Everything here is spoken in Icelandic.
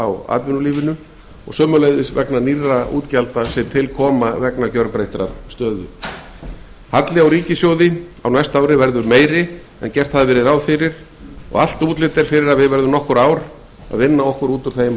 á atvinnulífinu halli á rekstri ríkissjóðs á næsta ári verður enn meiri en gert hafði verið ráð fyrir og allt útlit er að við verðum nokkur ár að vinna okkur út úr þeim